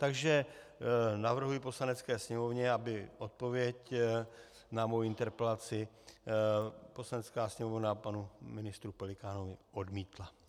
Takže navrhuji Poslanecké sněmovně, aby odpověď na moji interpelaci Poslanecká sněmovna panu ministru Pelikánovi odmítla.